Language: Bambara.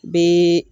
Bɛ